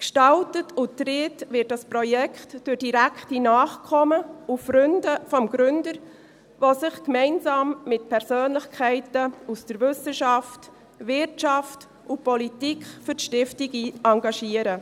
Gestaltet und getragen wird dieses Projekt durch die direkten Nachkommen und Freunde des Gründers, die sich gemeinsam mit Persönlichkeiten aus der Wissenschaft, Wirtschaft und Politik für die Stiftung engagieren.